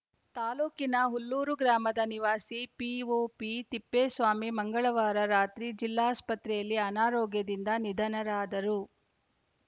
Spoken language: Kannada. ತಾಲೂಕಿನ ಹುಲ್ಲೂರು ಗ್ರಾಮದ ನಿವಾಸಿ ಪಿಒಪಿ ತಿಪ್ಪೇಸ್ವಾಮಿ ಮಂಗಳವಾರ ರಾತ್ರಿ ಜಿಲ್ಲಾಸ್ಪತ್ರೆಯಲ್ಲಿ ಅನಾರೋಗ್ಯದಿಂದ ನಿಧನರಾದರು